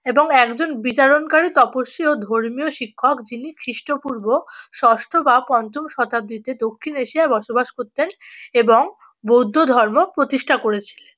এবং একজন বিচারণকারী তপস্বী ও ধর্মীয় শিক্ষক যিনি খ্রিস্টপূর্ব ষষ্ঠ বা পঞ্চম শতাব্দীতে দক্ষিণ এশিয়ায় বসবাস করতেন এবং বৌদ্ধ ধর্ম প্রতিষ্ঠা করেছিলেন।